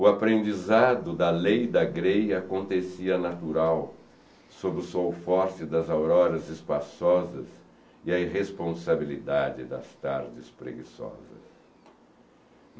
o aprendizado da lei da greia acontecia natural, sob o sol forte das auroras espaçosas e a irresponsabilidade das tardes preguiçosas.